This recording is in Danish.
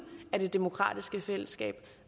af det demokratiske fællesskab